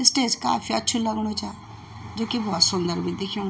स्टेज काफी अछू लगणु चा जू की भोत सुन्दर भी दिख्याणु।